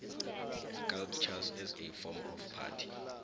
sculptures as a form of art